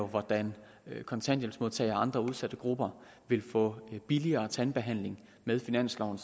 hvordan kontanthjælpsmodtagere og andre udsatte grupper vil få billigere tandbehandling med finansloven